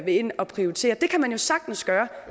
ind og prioritere det kan man jo sagtens gøre